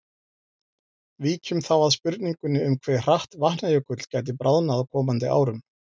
Víkjum þá að spurningunni um hve hratt Vatnajökull gæti bráðnað á komandi árum.